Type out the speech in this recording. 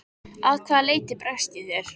Að hvaða leyti bregst ég þér?